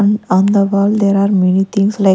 On the wall there are many things like--